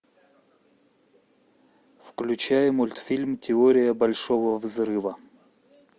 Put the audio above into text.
включай мультфильм теория большого взрыва